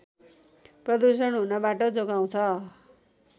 प्रदूषण हुनबाट जोगाउँछ